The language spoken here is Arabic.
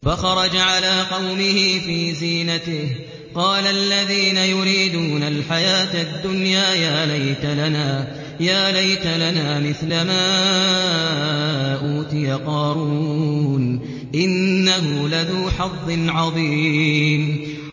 فَخَرَجَ عَلَىٰ قَوْمِهِ فِي زِينَتِهِ ۖ قَالَ الَّذِينَ يُرِيدُونَ الْحَيَاةَ الدُّنْيَا يَا لَيْتَ لَنَا مِثْلَ مَا أُوتِيَ قَارُونُ إِنَّهُ لَذُو حَظٍّ عَظِيمٍ